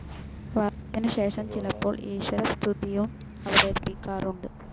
വർണ്ണത്തിനുശേഷം, ചിലപ്പോൾ, ഈശ്വരസ്തുതിയും അവതരിപ്പിക്കാറുണ്ട്.